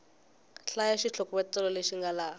hlaya xitlhokovetselo lexi nga laha